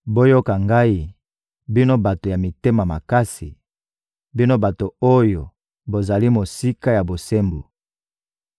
Boyoka Ngai, bino bato ya mitema makasi, bino bato oyo bozali mosika ya bosembo!